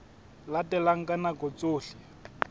le teng ka nako tsohle